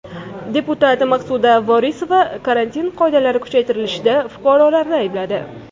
Deputat Maqsuda Vorisova karantin choralari kuchaytirilishida fuqarolarni aybladi.